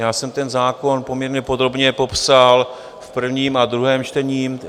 Já jsem ten zákon poměrně podrobně popsal v prvním a druhém čtení.